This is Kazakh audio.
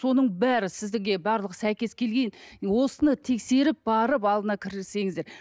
соның бәрі сізге барлық сәйкес осыны тексеріп барып алдына кірсеңіздер